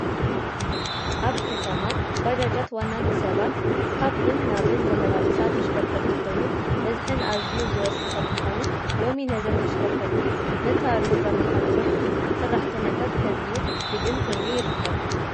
ኣብ ከተማ ባጃጃት ዋና ንሰባት ካብን ናብን ዘመላልሳ ተሽከርከርቲ ኮይኑ በዝሐን ኣዝዩ ዝወሰኸ ብምኻኑ ሎሚ ነዘን ተሽከርከርቲ ዘታርዩን ዘመሓድሩን ሰራሕተኛታት ከድልዩ ግድን ኮይኑ ይርከብ፡፡